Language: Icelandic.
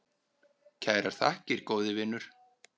Kærar þakkir, góði vinur.